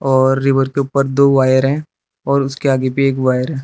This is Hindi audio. और रिवर के ऊपर दो वायर है और उसके आगे भी एक वायर है।